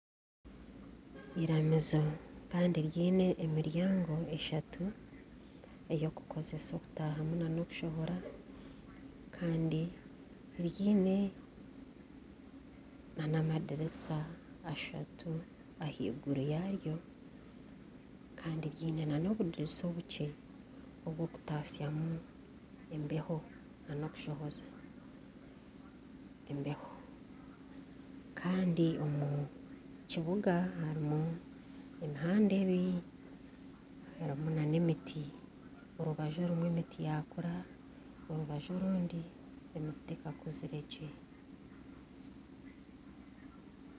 Iramizo kandi ryine emiryango eshatu eyokukozesa okutahamu na nokushohora kandi ryine na n'amadirisa ashatu ahaiguru yaryo Kandi ryine na nobudirisa obukye obwokutastya mu embeho na nokushohoza embeho Kandi omu kibuga harimu emihanda ebiri harimu na n'emiti. orubaju rumwe emiti yakura, orubaju orundi emiti tekakuzire gye.